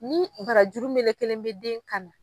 Ni barajuru melekelen bɛ den kan na